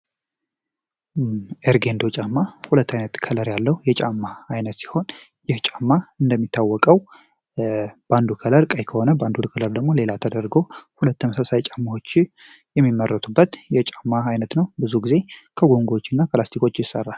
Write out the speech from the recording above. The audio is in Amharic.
ኤርጌንዶ ጫማ ሁለት አይነት ቀለም ያለው የጫማ አይነት ሲሆን ይህ ጫማ እንደሚታወቀው ባንዱ ከለር ቀይ ከሆነ በሌላው ደግሞ ሌላ ተደርጎ ሁለት ተመሳሳይ ጫማዎች የሚመረቱበት የጫማ አይነት ነው። ብዙ ጊዜ ከፕላስቲኮች ይሰራል።